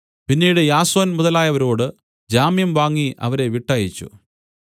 പിന്നീട് യാസോൻ മുതലായവരോട് ജാമ്യം വാങ്ങി അവരെ വിട്ടയച്ചു